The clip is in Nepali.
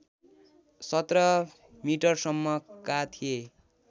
१७ मिटरसम्मका थिए